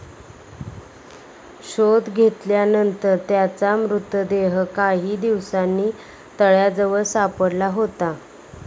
शोध घेतल्यानंतर त्याचा मृतदेह काही दिवसांनी तळ्याजवळ सापडला होता.